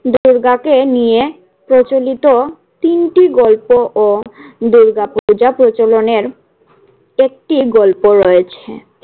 দুর্গাকে নিয়ে প্রচলিত তিনটি গল্প ও দুর্গা পূজা প্রচলনের একটি গল্প রয়েছে।